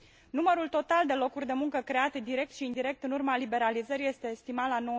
Numărul total de locuri de muncă create direct și indirect în urma liberalizării este estimat la